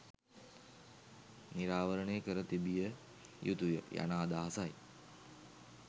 නිරාවරණය කර තිබිය යුතු ය' යන අදහසයි.